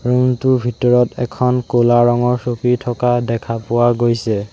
Room টোৰ ভিতৰত এখন ক'লা ৰঙৰ চকী থকা দেখা পোৱা গৈছে।